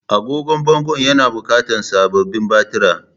Agogon bangon yana buƙatar sababbin batira